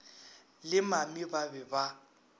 le mami ba be ba